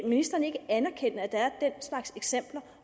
ministeren ikke anerkende at der er den slags eksempler